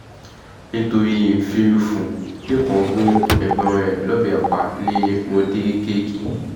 nítorí lẹ́kàn gún ẹ̀gbọ́n rẹ̀ lọ́bẹ̀ pa ní módékékì